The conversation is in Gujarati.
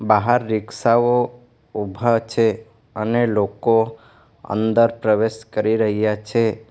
બહાર રિક્ષા ઓ ઊભા છે અને લોકો અંદર પ્રવેશ કરી રહ્યા છે.